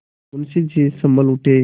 मुंशी जी सँभल उठे